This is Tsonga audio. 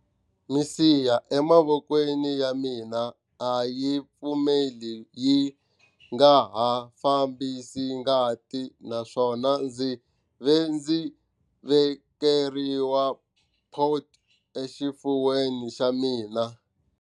Misiha emavokweni ya mina a yi pfimbile yi nga ha fambisi ngati naswona ndzi ve ndzi vekeriwa port exifuveni xa mina.